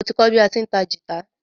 Mo ti kọ bí a ti ń ta gìtá.